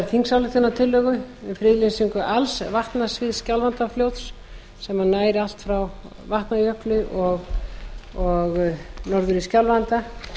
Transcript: og friðlýsingu alls vatnasviðs skjálfandafljóts sem nær allt frá vatnajökli og norður í skjálfanda